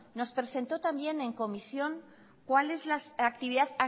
nos presentó también en comisión cuál es la actividad